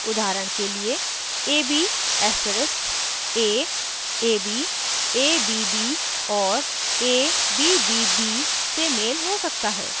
उदाहरण के लिए ab asterisk a ab abb और abbb से मेल हो सकता है